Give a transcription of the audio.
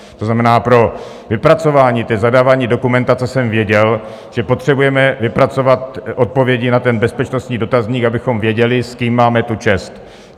To znamená, pro vypracování té zadávací dokumentace jsem věděl, že potřebujeme vypracovat odpovědi na ten bezpečnostní dotazník, abychom věděli, s kým máme tu čest.